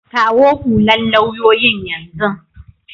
Kawo hullan lauyoyin yanzun.